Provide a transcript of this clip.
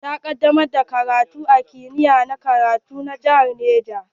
Ta kadamar da karatu a kimiya na karatu na jihar Niger.